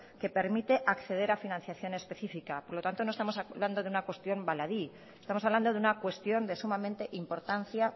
que permite acceder a financiación específica por lo tanto no estamos hablando de una cuestión baladí estamos hablando de una cuestión de sumamente importancia